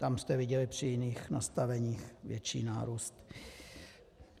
Tam jste viděli při jiných nastaveních větší nárůst.